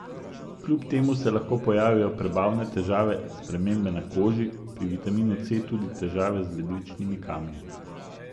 Kljub temu se lahko pojavijo prebavne težave, spremembe na koži, pri vitaminu C tudi težave z ledvični kamni.